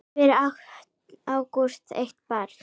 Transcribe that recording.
Fyrir átti Ágúst eitt barn.